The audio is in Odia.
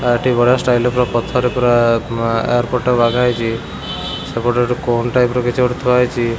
ଆ ଏଠି ବଢ଼ିଆ ଷ୍ଟାଇଲ ର ପୁରା ପଥର ରେ ପୁରା ଆଁ ଏୟାର ପୋର୍ଟ ଟାକୁ ବାଗାହେଇଚି। ସେପଟେ ଗୋଟେ କୋନ୍ ଟାଇପ୍ ର୍ କିଛି ଗୋଟେ ଥୁଆ ହେଇଚି।